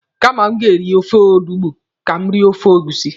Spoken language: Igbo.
Kama m ga-eri ofe olugbu, ka m rie ofe egusi.